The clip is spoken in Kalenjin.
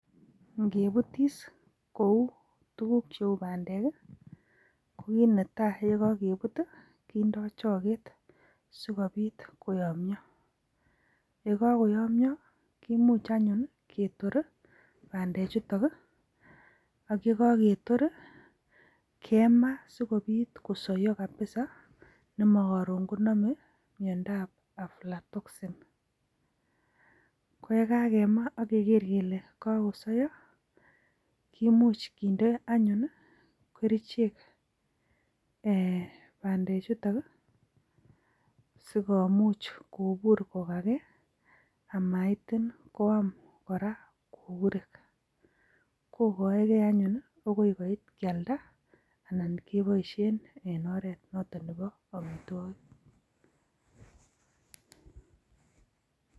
Ingebuutis kou tuguuk cheu bandek i,KO kit netai chekokebuut kindoo choget. Sikobiit koyomyoo, yekokoyomyoo, kimuch anyun ketoori bandechutook, akikyekakeyoor kemaa sikobiit kosoyoo kabisa nemokororon konome miondob aflatoxin .Koyekakemaa ak keger kele kakosoyoo, kimuch kinde anyun kerichek bandekchutok sikomuch kobuur kogakee komatin koam kora susurik. Kokaegeei anyun akoi koit, kialdaa anan keboishien en oret notok neboo amitwogik.